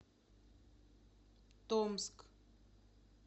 томск